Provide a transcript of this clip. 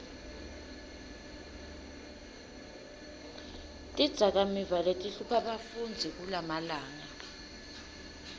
tidzakamiva letihlupha bafundzi kulamalanga